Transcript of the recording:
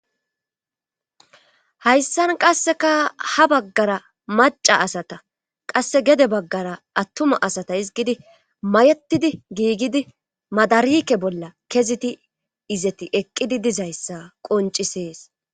Hayssan qasseka ha baggara maca asata qasse gede baggara attuma asata izgidi mayetidi giigidi madarike bolla keziti izeti eqqidi dizayssa qoncisees.